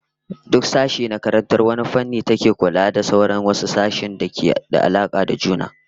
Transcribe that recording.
Duk sashe na karantar wani fanni, an kafa shi a karkashin wata tsangaya wacce take kula da sauran wasu sashe-sashen da ke da alaka da juna